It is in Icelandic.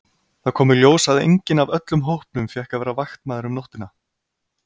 Það kom í ljós að enginn af öllum hópnum fékk að vera vaktmaður um nóttina.